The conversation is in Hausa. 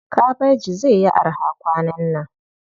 Kabaji zai yi araha kwanan nan.